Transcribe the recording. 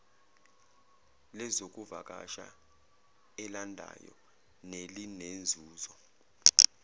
lezokuvakasha elandayo nelinenzuzo